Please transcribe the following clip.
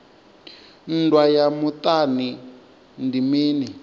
nndwa ya muṱani ndi mini